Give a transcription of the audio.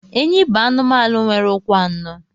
Enyí bụ anụmanụ nwere ụkwụ anọ